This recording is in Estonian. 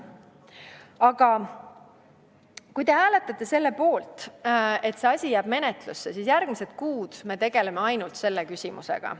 Aga kui te hääletate selle poolt, et see asi jääb menetlusse, siis järgmised kuud me tegeleme ainult selle küsimusega.